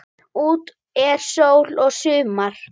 Úti er sól og sumar.